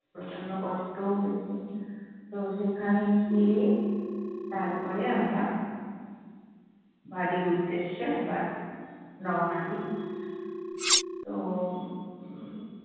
প্রচণ্ড কষ্টও হয়েছে। তো সেখানে গিয়ে তারপরে আমরা বাড়ির উদ্দেশ্যে আবার রওয়ানা দিই। তো উম